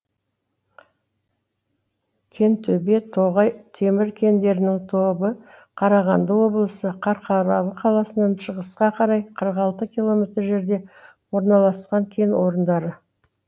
кентөбе тоғай темір кендерінің тобы қарағанды облысы қарқаралы қаласынан шығысқа қарай қырық алты километр жерде орналасқан кен орындары